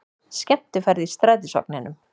Skemmtiferð í strætisvagninum